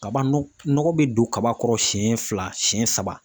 Kaban nɔ nɔgɔ bɛ don kaba kɔrɔ siyɛn fila siyɛn saba.